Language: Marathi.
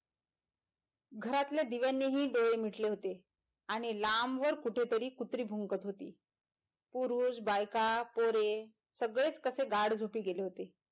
घरातल्या दिव्यनीही डोळे मिटले होते आणि लांब वर कुठे तरी कुत्री भुंकत होती पुरुष बायका पोरे सगळेच कसे गाढ झोपी गेले होते.